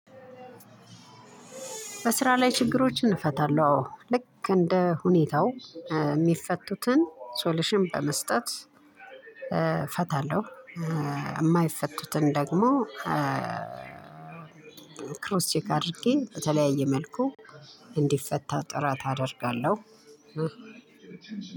በስራ ላይ ችግሮችን እፈታለሁ አዎ ልክ እንደ ሁኔታው የሚፈቱትን ሶሉሽን በመስጠት እፈታለሁ። የማይፈቱትን ደግሞ ክሮስ ቼክ አድርጌ በተለያየ መልኩ እንዲፈታ ጥረት አደርጋለሁ።